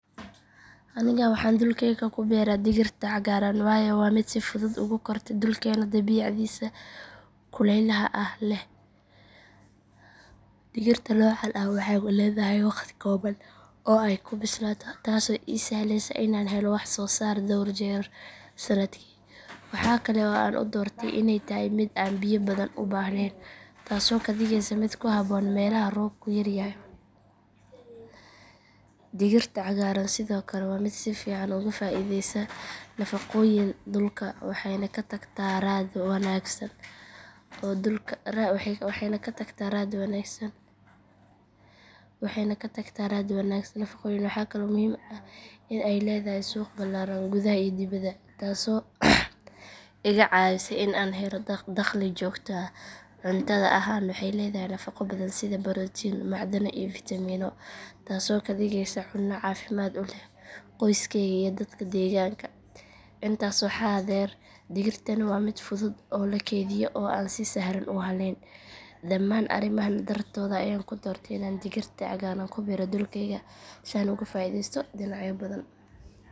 Aniga waxaan dhulkayga ku beeraa digirta cagaaran waayo waa mid si fudud ugu korta dhulkeena dabeecaddiisa kulaylaha ah leh. Digirta noocan ah waxay leedahay wakhti kooban oo ay ku bislaato taasoo ii sahlaysa inaan helo wax soo saar dhowr jeer sanadkii. Waxa kale oo aan u doortay inay tahay mid aan biyo badan u baahnayn taasoo ka dhigaysa mid ku habboon meelaha roobku yaryahay. Digirta cagaaran sidoo kale waa mid si fiican uga faa’iideysa nafaqooyinka dhulka waxayna ka tagtaa raad wanaagsan oo dhulka dib ugu celiya nafaqooyinka. Waxaa kale oo muhiim ah in digirtaani ay leedahay suuq ballaaran gudaha iyo dibaddaba taasoo iga caawisa in aan helo dakhli joogto ah. Cuntada ahaan waxay leedahay nafaqo badan sida borotiin, macdano iyo fiitamiino taasoo ka dhigaysa cunno caafimaad u leh qoyskeyga iyo dadka deegaanka. Intaa waxaa dheer digirtaani waa mid fudud in la kaydiyo oo aan si sahlan u hallayn. Dhammaan arrimahan dartood ayaan ku doortay in aan digirta cagaaran ku beero dhulkayga si aan uga faa’iidaysto dhinacyo badan.